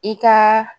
I ka